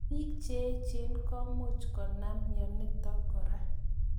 Piik che echen komuch konam mianotok kora.